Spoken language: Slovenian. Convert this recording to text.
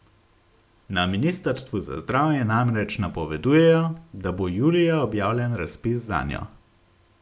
Na ministrstvu za zdravje namreč napovedujejo, da bo julija objavljen razpis zanjo.